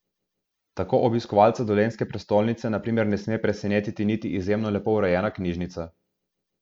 Tako obiskovalca dolenjske prestolnice na primer ne sme presenetiti niti izjemno lepo urejena knjižnica.